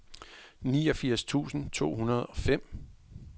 niogfirs tusind to hundrede og fem